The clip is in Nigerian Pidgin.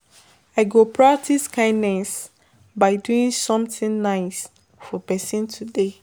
I go practice kindness by doing something nice for person today.